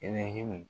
Ne hu